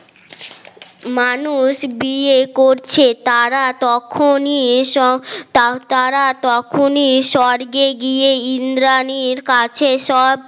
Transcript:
মানুষ গিয়ে করছে তারা তখনই এসব তারা তখনই স্বর্গে গিয়ে ইন্দ্রানী এর কাছে সব